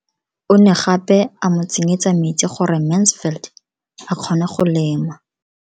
O ne gape a mo tsenyetsa metsi gore Mansfield a kgone go lema.